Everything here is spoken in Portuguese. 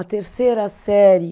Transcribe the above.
A terceira série